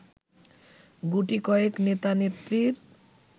গুটিকয়েক নেতা-নেত্রীর